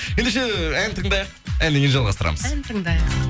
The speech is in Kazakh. ендеше ән тыңдайық әннен кейін жалғастырамыз ән тыңдайық